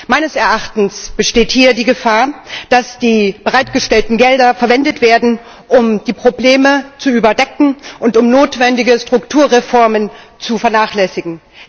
Meines Erachtens besteht hier die Gefahr, dass die bereitgestellten Gelder verwendet werden, um die Probleme zu überdecken und um notwendige Strukturreformen zu vernachlässigen.